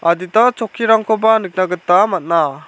adita chokkirangkoba nikna gita man·a.